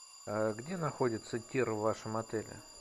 где находится тир в вашем отеле